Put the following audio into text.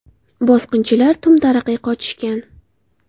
Bosqinchilar tum-taraqay qochishgan.